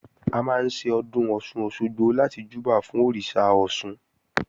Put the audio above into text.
A máa ń ṣe Ọdún Ọ̀sun-Òsogbo láti júbà fún Òrìṣà Ọ̀ṣun